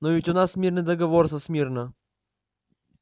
но ведь у нас мирный договор со смирно